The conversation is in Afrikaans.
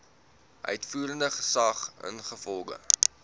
uitvoerende gesag ingevolge